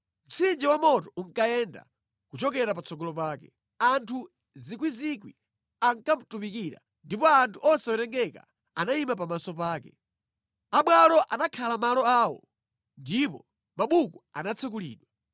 Mtsinje wa moto unkayenda, kuchokera patsogolo pake. Anthu miyandamiyanda ankamutumikira; ndipo anthu osawerengeka anayima pamaso pake. Abwalo anakhala malo awo, ndipo mabuku anatsekulidwa.